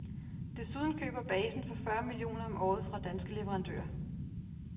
Desuden køber basen for fyrre millioner om året fra danske leverandører.